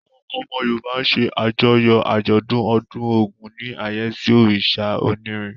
Àwọn ọmọ Yorùbá ṣe àjọyọ̀ àjọ̀dún ọdún Ògún ní àyẹ́sí òrìṣà onírin.